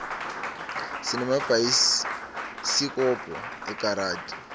sinemabhayisikobho ekaradi